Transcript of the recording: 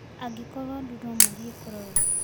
Angĩkorwo andũ no mathiĩ kurorwo